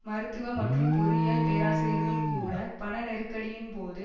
மருத்துவ மற்றும் பொறியியல் பேராசிரியர்கள் கூட பண நெருக்கடியின் போது